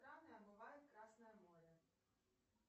страны омывает красное море